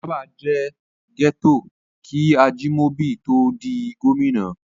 Ọjà'ba jẹ́ gẹ́tò kí Ajimobi tó ó di gómìnà.